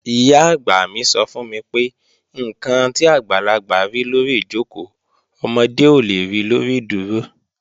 Ìyá-àgbà mi sọ fún mi pé, "ǹkan tí àgbàlagbà rí lórí ìjòkó, ọmọdé ò le ri lórí ìdúró"